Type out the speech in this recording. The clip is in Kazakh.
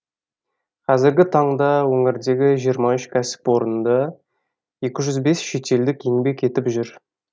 қазіргі таңда өңірдегі жиырма үш кәсіпорында екі жүз бес шетелдік еңбек етіп жүр